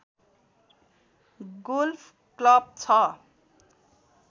golf club छ